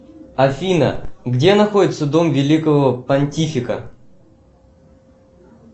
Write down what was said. афина где находится дом великого понтифика